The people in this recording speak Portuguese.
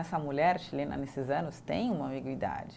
Essa mulher chilena, nesses anos, tem uma ambiguidade.